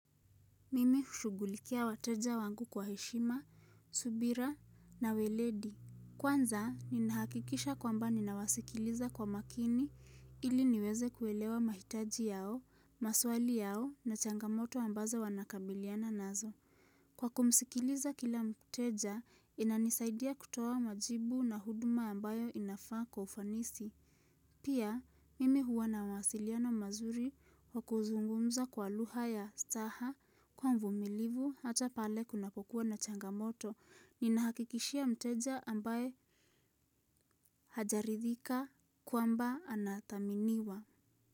Mimi hushughulikia wateja wangu kwa heshima, subira na weledi. Kwanza, ninahakikisha kwamba ninawasikiliza kwa makini ili niweze kuelewa mahitaji yao, maswali yao na changamoto ambazo wanakabiliana nazo. Kwa kumsikiliza kila mteja, inanisaidia kutoa majibu na huduma ambayo inafaa kwa ufanisi. Pia, mimi huwa na mawasiliano mazuri, huzungumza kwa lugha ya staha na huwa mvumilivu hata pale kunapokuwa na changamoto ninahakikishia mteja ambaye hajaridhika kwamba anathaminiwa.